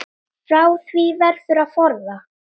Frá því verður að forða.